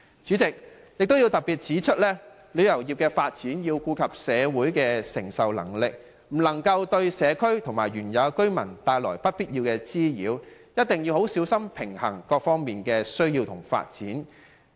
主席，我想特別指出，發展旅遊業須顧及社會的承受能力，不能對社區和當地居民帶來不必要的滋擾，一定要十分小心平衡各方面的需要和發展。